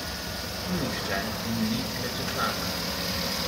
Tu nihče ni klečeplazil.